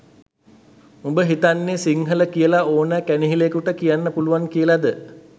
උඹ හිතන්නෙ සිංහල කියල ඕන කැනහිලෙකුට කියන්න පුළුවන් කියලද?